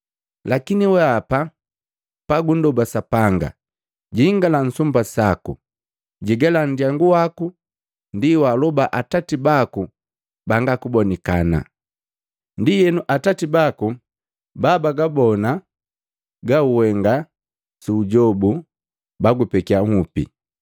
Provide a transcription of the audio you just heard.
Lakini wehapa pagundoba Sapanga, jingala nsumba saku, jigala ndyangu waku, ndi waaloba Atati baku banga kubonikana. Ndienu Atati baku babagabona gauhenga sujobu bagupekiya nhupi.